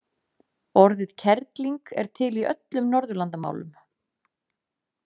Orðið kerling er til í öllum Norðurlandamálum.